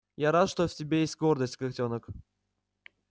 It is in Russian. я рад что в тебе есть гордость котёнок